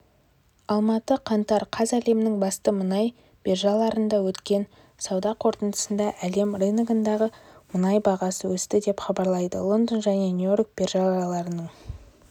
алматы қаңтар қаз әлемнің басты мұнай биржаларында өткен сауда қортындысында әлем рыногындағы мұнай бағасы өсті деп хабарлайды лондон және нью-йорк биржаларының